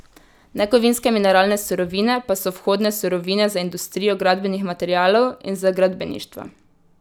Nekovinske mineralne surovine pa so vhodne surovine za industrijo gradbenih materialov in za gradbeništvo.